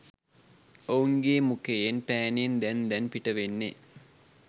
ඔවුන්ගේ මුකයෙන් පෑනෙන් දැන් දැන් පිටවෙන්නේ.